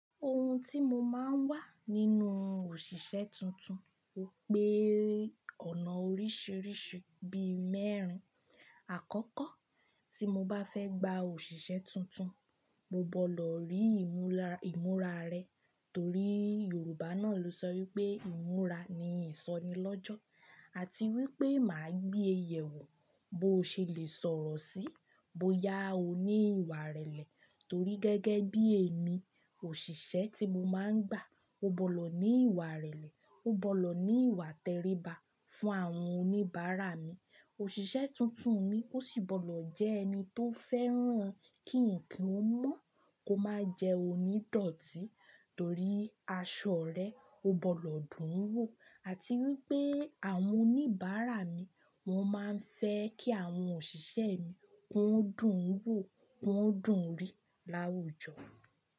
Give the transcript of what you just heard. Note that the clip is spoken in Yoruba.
Ohun tí mo máa ń wà nínú òṣìṣẹ́ tuntun, ó pé ọ̀nà oríṣiríṣi bí mẹ́rin. Àkọ́kọ́ tí mo bá fẹ́ gba òṣìṣẹ́ tuntun, mo gbọ́dọ̀ rí ìmúra rẹ̀ torí Yorùbá náà ló sọ wípé ìmúra ni ìsọnilọ́jọ́ àti wípé mà á gbé ẹyẹ wò bó ṣe lè sọ̀rọ̀ sí, bóyá ó ní ìwà ìrẹ̀lẹ̀ torí gẹ́gẹ́ bí èmi, òṣìṣẹ́ tí mo máa ń gbà ó gbọ́dọ̀ ní ìwà ìrẹ̀lẹ̀, ó gbọ́dọ̀ ní ìwà tẹríba fún àwọn oníbàárà mi. Òṣìṣẹ́ tuntun mi ó sì gbọ́dọ̀ jẹ́ ẹni tó fẹ́ràn kí nǹkan ó mọ́, kó má jẹ́ onídọ̀tí torí aṣọ rẹ̀ ó gbọ́dọ̀ dùn ún wò àti wípé àwọn oníbàárà mi wọ́n máa ń fẹ́ kí àwọn òṣìṣẹ́ mi kí wọ́n dùn ún wò, kí wọ́n dùn ún rì láwùjọ.